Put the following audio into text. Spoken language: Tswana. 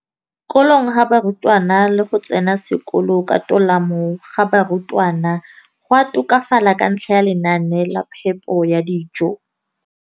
Kolong ga barutwana le go tsena sekolo ka tolamo ga barutwana go a tokafala ka ntlha ya lenaane la phepo ya dijo.